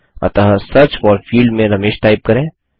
अतः search for field में Ramesh type करें